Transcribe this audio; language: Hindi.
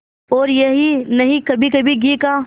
और यही नहीं कभीकभी घी का